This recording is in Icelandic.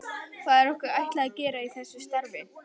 Hvað er okkur ætlað að gera í þessu starfi?